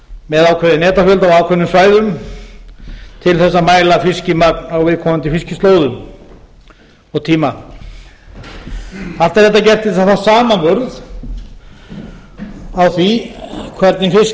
netafjölda og á ákveðnum svæðum til að mæla fiskimenn á viðkomandi fiskislóðum og tíma allt er þetta gert til að fá samanburð á því hvernig fiskmagnið á